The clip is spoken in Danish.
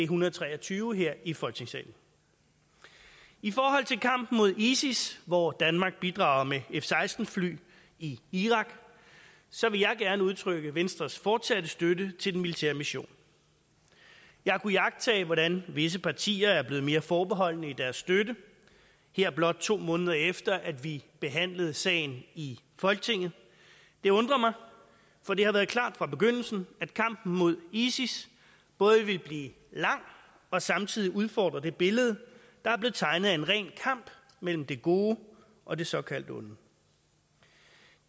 hundrede og tre og tyve her i folketingssalen i forhold til kampen mod isis hvor danmark bidrager med f seksten fly i irak så vil jeg gerne udtrykke venstres fortsatte støtte til den militære mission jeg har kunnet iagttage hvordan visse partier er blevet mere forbeholdne i deres støtte her blot to måneder efter at vi behandlede sagen i folketinget det undrer mig for det har været klart fra begyndelsen at kampen mod isis både ville blive lang og samtidig udfordre det billede der er blevet tegnet af en ren kamp mellem det gode og det såkaldt onde det